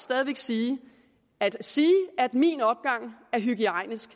sige at sige at min opgang er hygiejnisk